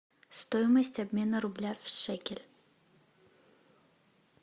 стоимость обмена рубля в шекель